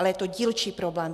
Ale je to dílčí problém.